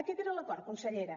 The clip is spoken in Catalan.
aquest era l’acord consellera